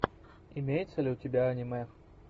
имеется ли у тебя аниме